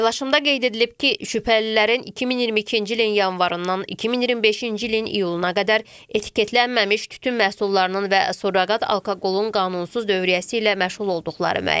Paylaşımda qeyd edilib ki, şübhəlilərin 2022-ci ilin yanvarından 2025-ci ilin iyuluna qədər etiketlənməmiş tütün məhsullarının və surroqat alkoqolun qanunsuz dövriyyəsi ilə məşğul olduqları müəyyən edilib.